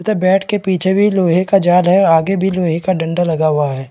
तथा बैट के पीछे भी लोहे का जाल है आगे भी लोहे का डंडा लगा हुआ है।